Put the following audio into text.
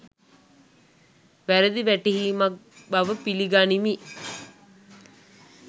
වැරදි වැටහීමක් බව පිලි ගනිමි